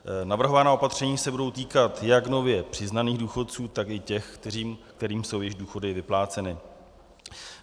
Navrhovaná opatření se budou týkat jak nově přiznaných důchodců, tak i těch, kterým jsou již důchody vypláceny.